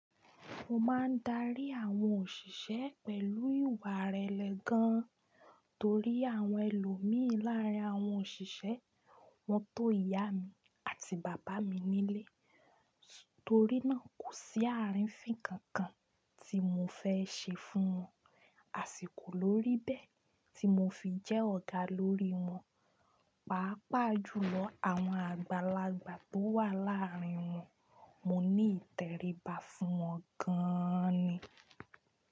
Mo máa ń darí àwọn òṣìṣẹ́ pẹ̀lú ìwà ìrẹ̀lẹ̀ gan torí àwọn ẹlòmíín láàárín àwọn òṣìṣẹ́ wọn tó ìyá mi àti bàbá mi nílé. Torí náà kò sí àrífín kankan tí mo fẹ́ ṣe fún wọn, àsìkò lórí bẹ́ẹ̀ tí mo fi jẹ́ ọ̀gá lórí wọn, pàápàá jùlọ àwọn àgbàlagbà tó wà láàrín wọn, mo ní ìtẹríba fún wọn gan an ni.